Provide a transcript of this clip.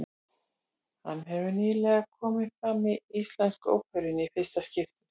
Hann hefur nýlega komið fram í Íslensku óperunni í fyrsta skipti.